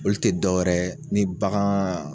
Olu tɛ dɔ wɛrɛ ye ni bagan